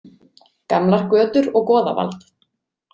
Gamlar götur og goðavald.